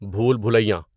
بھول بُلیاں